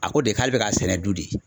A ko de k'ale bɛ k'a sɛnɛ du de ye.